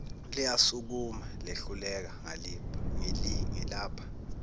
liyasukuma lehluleka ngilapha